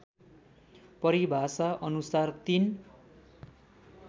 परिभाषाअनुसार ३